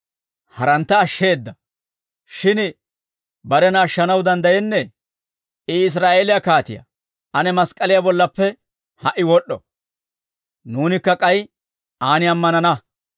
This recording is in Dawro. «Harantta ashsheeda; shin barena ashshanaw danddayenna. I Israa'eeliyaa kaatiyaa; ane mask'k'aliyaa bollappe ha"i wod'd'o; nuunikka k'ay aan ammanana.